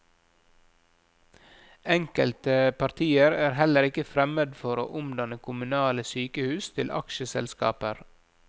Enkelte partier er heller ikke fremmed for å omdanne kommunale sykehus til aksjeselskaper.